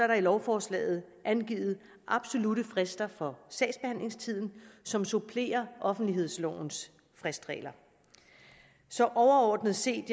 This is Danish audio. der i lovforslaget angivet absolutte frister for sagsbehandlingstiden som supplerer offentlighedslovens fristregler overordnet set